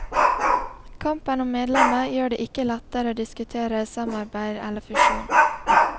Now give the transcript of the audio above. Kampen om medlemmer gjør det ikke lettere å diskutere samarbeid eller fusjon.